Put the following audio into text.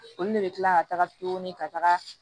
Olu de bɛ kila ka taga tuguni ka taga